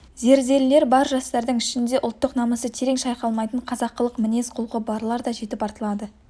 зерделілер бар жастардың ішінде де ұлттық намысы терең шайқалмайтын қазақылық мінез-құлқы барлар да жетіп артылады